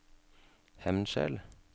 Hemnskjel